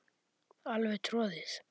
Alveg troðið.